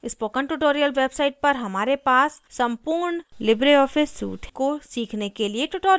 spoken tutorial website पर हमारे पास सम्पूर्ण libreoffice suite को सीखने के लिए tutorials हैं